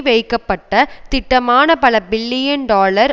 வைக்கப்பட்ட திட்டமான பல பில்லியன் டாலர்